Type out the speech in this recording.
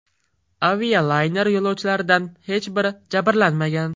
Avialayner yo‘lovchilaridan hech biri jabrlanmagan.